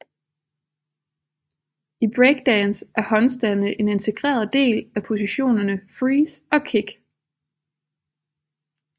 I breakdance er håndstande en integreret del af positionerne freeze og kick